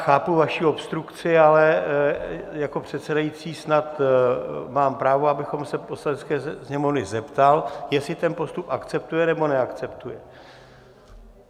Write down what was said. Chápu vaši obstrukci, ale jako předsedající snad mám právo, abych se Poslanecké sněmovny zeptal, jestli ten postup akceptuje, nebo neakceptuje.